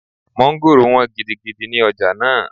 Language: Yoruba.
Mọ́ngòrò wọ́n gidigidi ní ọjà náà